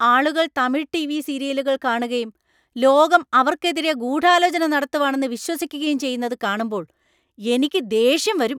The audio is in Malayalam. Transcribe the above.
ആളുകൾ തമിഴ് ടിവി സീരിയലുകൾ കാണുകയും ലോകം അവർക്കെതിരെ ഗൂഢാലോചന നടത്തുവാണെന്ന് വിശ്വസിക്കുകയും ചെയ്യുന്നത് കാണുമ്പോൾ എനിക്ക് ദേഷ്യം വരും.